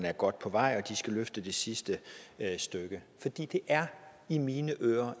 er godt på vej og at de skal løfte sig det sidste stykke for det er i mine ører